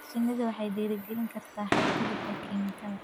Shinnidu waxay dhiirigelin kartaa xadgudubka kiimikada.